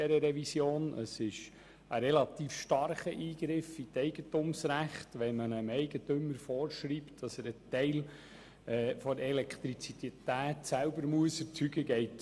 Es handelt sich um einen ziemlich starken Eingriff in die Eigentumsrechte, dem Eigentümer vorzuschreiben, er müsse einen Teil der Elektrizität selber erzeugen.